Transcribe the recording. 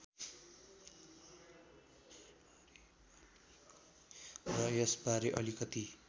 र यसबारे अलिकति